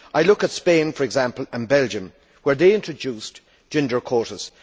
I look at Spain, for example, and Belgium, where they introduced gender quotas.